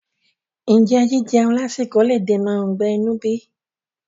Ǹjẹ́ jíjeun lásìkò le dènà ọgbẹ́ inú bí?